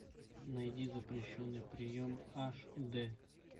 найди запрещенный прием аш д